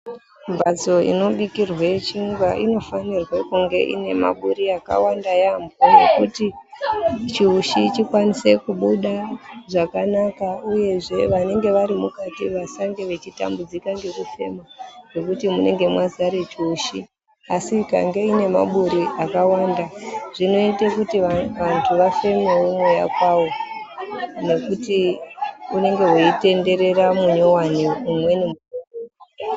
Mbatso inobikirwe chingwa inofanirwe kunge inemaburi akawanda yambo ekuti chiushi chikwanise kubuda zvakanaka uyezve vanenge varimukati vasange vechitambudzika ngekufema ngekuti munenge mwazare chiushi , asi ikange ine maburi akawanda zvinoite kuti vantu vafemewo mweya kwawo nekuti unenge weitenderera munyowani umweni weibuda.